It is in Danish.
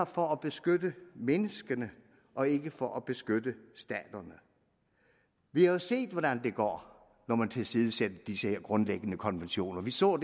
for at beskytte menneskene og ikke for at beskytte staterne vi har jo set hvordan det går når man tilsidesætter disse grundlæggende konventioner vi så